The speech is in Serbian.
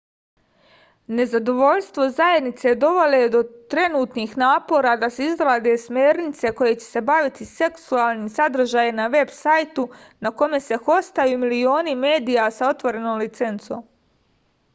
nezadovoljstvo zajednice dovelo je do trenutnih napora da se izrade smernice koje će se baviti seksualnim sadržajem na veb sajtu na kome se hostuju milioni medija sa otvorenom licencom